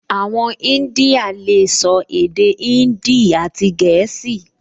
Àwọn ìdínyà lè sọ èdè índì àti gẹ̀ẹ́sì